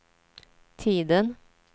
tiden